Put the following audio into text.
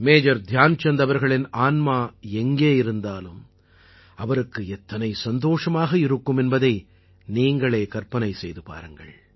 major Dhyan Chand அவர்களின் ஆன்மா எங்கே இருந்தாலும் அவருக்கு எத்தனை சந்தோஷமாக இருக்கும் என்பதை நீங்களே கற்பனை செய்து பாருங்கள்